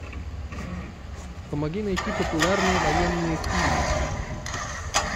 помоги найти популярные военные фильмы